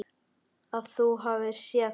Að þú hafir séð hana?